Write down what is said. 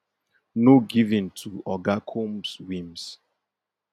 no give in to oga combs whims